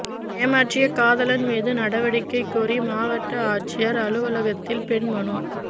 ஏமாற்றிய காதலன் மீது நடவடிக்கை கோரி மாவட்ட ஆட்சியா் அலுவலகத்தில் பெண் மனு